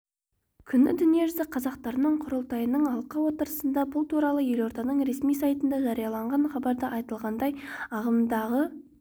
күні дүниежүзі қазақтарының құрылтайының алқа отырысында бұл туралы елорданың ресми сайтында жарияланған хабарда айтылғандай ағымдағы